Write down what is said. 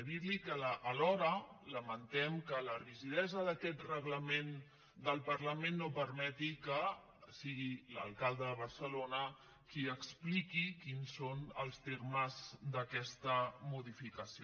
i dir li que alhora lamentem que la rigidesa d’aquest reglament del parlament no permeti que sigui l’alcalde de barcelona qui expliqui quins són els termes d’aquesta modificació